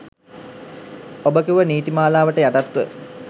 ඔබ කිව්වා නීති මාලාවට යටත්ව